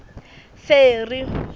ferry